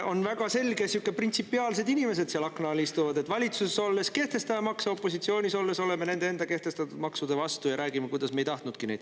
On väga selge, et seal akna all istuvad sihukesed printsipiaalsed inimesed, kes valitsuses olles kehtestavad makse ja opositsioonis olles on enda kehtestatud maksude vastu ja räägivad, kuidas nad neid ei tahtnudki.